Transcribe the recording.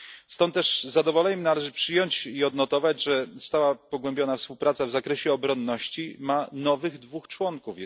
Stąd też z zadowoleniem należy przyjąć i odnotować, że stała pogłębiona współpraca w zakresie obronności ma nowych dwóch członków.